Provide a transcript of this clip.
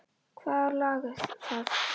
Hvaða lag er það?